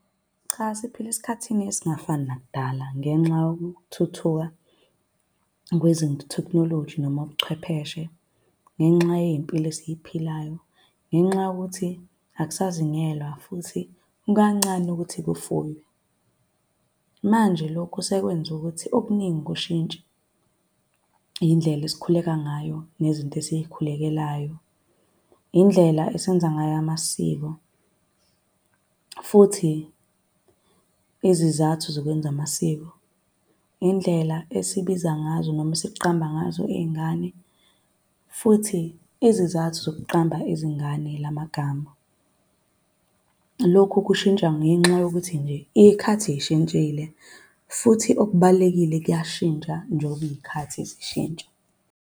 Cha siphila esikhathini esingafani nakudala ngenxa yokuthuthuka kwezinto tekhnoloji noma ubuchwepheshe ngenxa yeyimpilo esiyiphilayo. Ngenxa yokuthi akusazingelwa futhi kukancane ukuthi kufuywe. Manje lokho sekwenze ukuthi okuningi kushintshe. Indlela esikhuleka ngayo nezinto esikhulekelayo. Indlela esenza ngayo amasiko, futhi izizathu zokwenza amasiko. Indlela esibiza ngazo noma esiqamba ngazo iy'ngane futhi izizathu zokuqamba izingane lamagama. Lokhu kushintsha ngenxa yokuthi nje iy'khathi iy'shintshile. Futhi okubalulekile kuyashintsha njengoba iy'khathi zishintsha.